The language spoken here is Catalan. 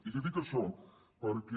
i li dic això perquè